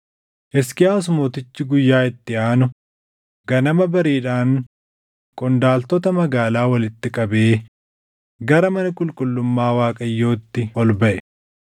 Hisqiyaas Mootichi guyyaa itti aanu ganama bariidhaan qondaaltota magaalaa walitti qabee gara mana qulqullummaa Waaqayyootti ol baʼe.